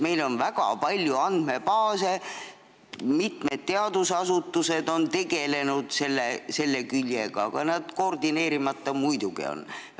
Meil on väga palju andmebaase, mitmed teadusasutused on nendega tegelenud, aga koordineerimata nad muidugi on.